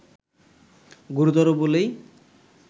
গুরুতর বলেই